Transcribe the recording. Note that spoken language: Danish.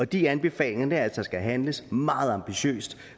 de anbefalinger er altså at der skal handles meget ambitiøst